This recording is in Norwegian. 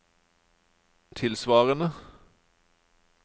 tilsvarende